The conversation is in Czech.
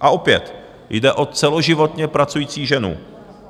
A opět jde o celoživotně pracující ženu.